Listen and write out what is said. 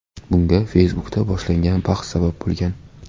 Bunga Facebook’da boshlangan bahs sabab bo‘lgan.